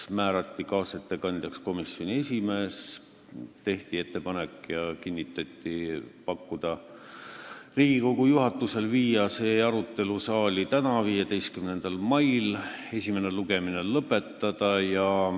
Kaasettekandjaks määrati komisjoni esimees ning tehti ettepanek Riigikogu juhatusele viia eelnõu arutelu saali tänaseks, 15. maiks, ja esimene lugemine lõpetada.